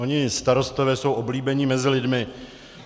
Oni starostové jsou oblíbení mezi lidmi.